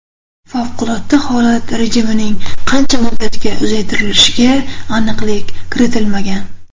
Favqulodda holat rejimining qancha muddatga uzaytirilishiga aniqlik kiritilmagan.